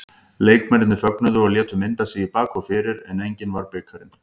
Leikmennirnir fögnuðu og létu mynda sig í bak og fyrir en enginn var bikarinn.